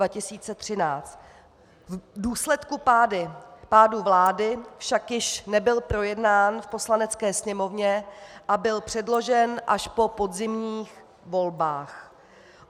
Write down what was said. V důsledku pádu vlády však již nebyl projednán v Poslanecké sněmovně a byl předložen až po podzimních volbách.